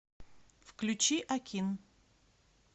включи акин